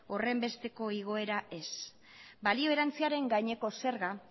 horrenbesteko igoera ez balio erantsiaren gaineko zerga